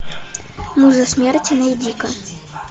муза смерти найди ка